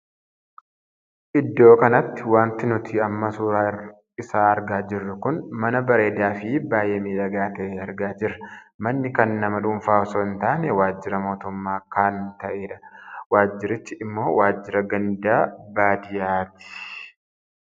Iddoo kanatti wanti nuti amma suuraa isaa argaa jirru kun mana bareedaa fi baay'ee miidhagaa tahee argaa jirra. manni kan nama dhuunfaa osoo hin taane waajjira mootummaa kan taheedha. waajjirichi immoo waajjira ganda baadiyyaati.